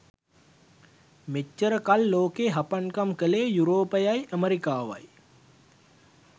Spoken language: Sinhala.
මෙච්චර කල් ලෝකේ හපන්කම් කළේ යුරෝපයයි ඇමෙරිකාවයි.